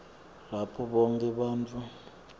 lapho bonkhe bantfu